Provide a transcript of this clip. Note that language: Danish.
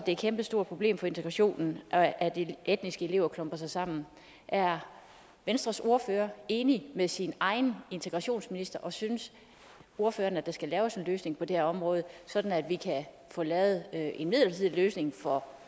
et kæmpestort problem for integrationen at at de etniske elever klumper sig sammen er venstres ordfører enig med sin egen integrationsminister og synes ordføreren at der skal laves en løsning på det her område sådan at vi kan få lavet en midlertidig løsning for